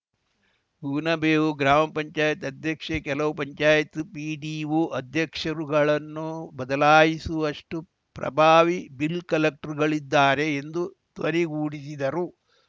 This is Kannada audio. ಕೂನಬೇವು ಗ್ರಾಮ ಪಂಚಾಯತ್ ಅಧ್ಯಕ್ಷೆ ಕೆಲವು ಪಂಚಾಯಿತ್ ಪಿಡಿಒ ಅಧ್ಯಕ್ಷರುಗಳನ್ನು ಬದಲಾಯಿಸುವಷ್ಟುಪ್ರಭಾವಿ ಬಿಲ್‌ಕಲೆಕ್ಟರ್‌ಗಳಿದ್ದಾರೆ ಎಂದು ಧ್ವನಿಗೂಡಿಸಿದರು